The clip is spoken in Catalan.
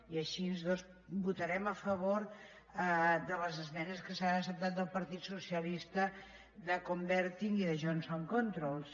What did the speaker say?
i així doncs votarem a favor de les esmenes que s’han acceptat del partit socialista de converting i de johnson controls